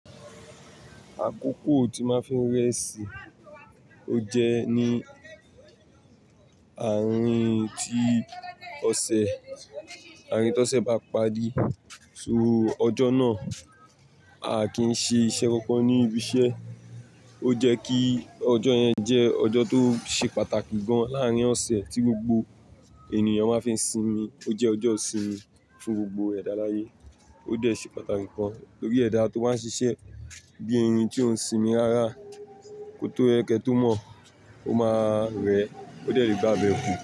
Àkókò tí máa fí ń rẹ́ṣì, ó jẹ́ ní àárín tí ọ̀sẹ̀, àárín tó ọ̀sẹ̀ bá parí. So ọjọ́ náà, a kì n ṣe iṣẹ́ kankan ní ibi iṣẹ́. Ó jẹ́ kí ọjọ́ yẹn jẹ́ ọjọ́ tó ṣe pàtàkì gan láàrín ọ̀sẹ̀ tí gbogbo ènìyàn máa fí ń sinmi. Ó jẹ́ ọjọ́ ìsinmi fún gbogbo ẹ̀dá aláyé. Ó dẹ̀ ṣe pàtàkì gan tọ́rí ẹ̀dá tó wá ń ṣiṣẹ́. Bí i irin tí ó ń sinmi rárá kó tó ẹkẹ tó mọ, ó máa rẹ́, ó dẹ̀rí bá abẹ́ kú.